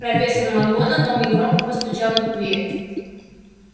профессор макгонагалл негромко постучала в дверь